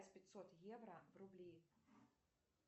пятьсот евро в рубли